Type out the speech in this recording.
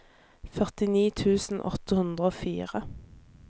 førtini tusen åtte hundre og fire